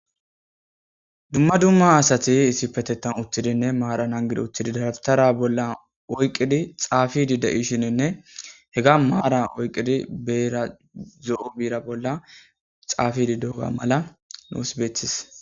Dumma dumma asati issipetetan uttidinne maaran hangidi uttidi daratara bolla oyqidi xaafidi de'ishininne hega maaran oyqqidi beera zo'o miira bolla xaafidi dooga mala nuus beetis